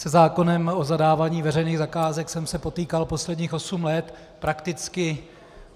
Se zákonem o zadávání veřejných zakázek jsem se potýkal posledních osm let prakticky.